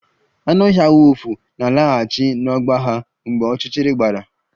Anụ ọhịa wulfu na-alaghachi n'ọgba ha mgbe ọchịchịrị gbara